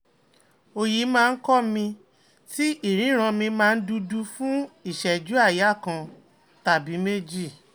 òòyì máa ń ko mi ti iriran mi máa dudu fún ìṣẹ́jú aaya kan tàbí méjì